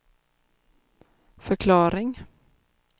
förklaring